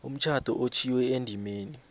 umtjhado otjhwiwe endimeni